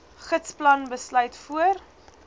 gidsplan besluit voor